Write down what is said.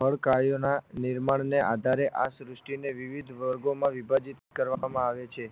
ફળ કાર્યોના નિર્માણને આધારે આ શ્રુષ્ટિને વિવિધ વર્ગોમાં વિભાજીત કરવામાં આવે છે